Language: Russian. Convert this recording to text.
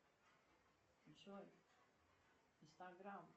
джой инстаграм